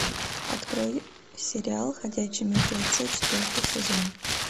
открой сериал ходячие мертвецы четвертый сезон